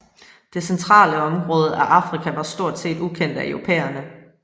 Det centrale område i Afrika var stort set ukendt af europæerne